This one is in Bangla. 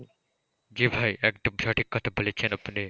জি ভাই একদম সঠিক কথা বলেছেন আপনি।